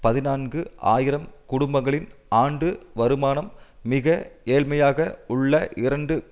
பதினான்கு ஆயிரம் குடும்பங்களின் ஆண்டு வருமானம் மிக ஏழ்மையாக உள்ள இரண்டு